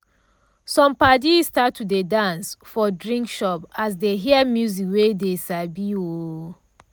some padi start to dey dance for drink shop as dey hear music wey dey sabi. um